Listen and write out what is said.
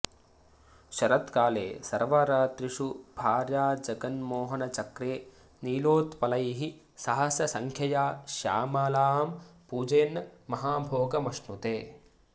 शरत्काले सर्वरात्रिषु भार्याजगन्मोहनचक्रे नीलोत्पलैः सहस्रसङ्ख्यया श्यामलां पूजयन् महाभोगमश्नुते